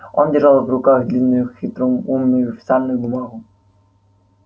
он держал в руках длинную хитроумную официальную бумагу